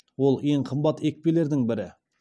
ол ең қымбат екпелердің бірі